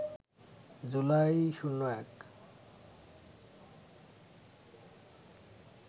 July ০১